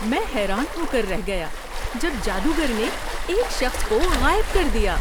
میں حیران ہو کر رہ گیا جب جادوگر نے ایک شخص کو غائب کر دیا!